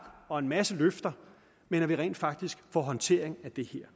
og en masse løfter men at vi rent faktisk får en håndtering af det her